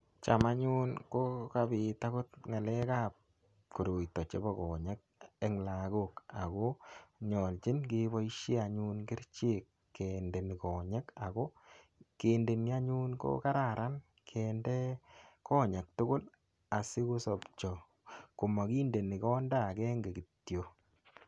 Cham anyun ko kapit agot koroito chebo konyek eng lagok ago nyoljin keboisie anyun kerichek kendoni konyek ago kindeni anyun ko kararan kende konyek tugul asigosopcho komakindeni konda agenge kityo.